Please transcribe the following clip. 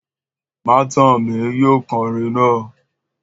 Matanmi Yóò kọrin naa!